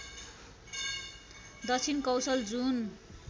दक्षिण कौशल जुन